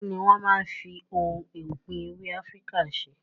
Kini wọn máa ń fi ohun ọ̀gbìn èwe Afíríkà ṣe?